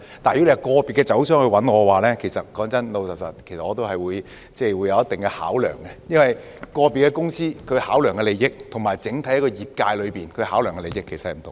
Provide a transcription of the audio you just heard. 但是，如果是個別的酒商找我，坦白說，我也會有一定的考量，因為個別公司所考量的利益與整體業界所考量的利益其實是有所不同的。